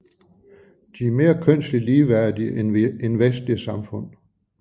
De er mere kønslig ligeværdige end vestlige samfund